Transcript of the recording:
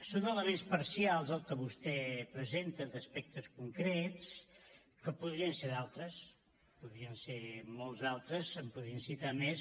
són elements parcials el que vostè presenta d’aspectes concrets que podrien ser d’altres podrien ser molts d’altres se’n podrien citar més